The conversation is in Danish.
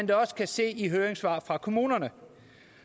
da også kan se i høringssvarene fra kommunerne